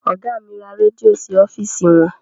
Ọgá mi ra rẹ́díò sí ọ́fìsì wọn.